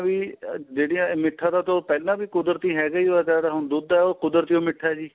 ਵੀ ਜਿਹੜੀਆ ਮਿੱਠਾ ਤਾਂ ਉਹ ਪਹਿਲਾਂ ਵੀ ਕੁਦਰਤੀ ਹੈਗਾ ਈ ਵੱਧ ਏ ਹੁਣ ਦੁੱਧ ਏ ਕੁਦਰਤੀ ਓ ਮਿੱਠਾ ਏ